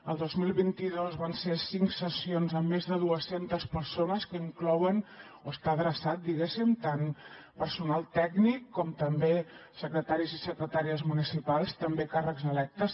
el dos mil vint dos van ser cinc sessions amb més de duescentes persones que estan adreçades diguéssim tant a personal tècnic com també a secretaris i secretàries municipals també a càrrecs electes